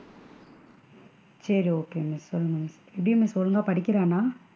சேரி okay miss சொல்லுங்க எப்படி miss ஒழுங்கா படிக்கிறானா?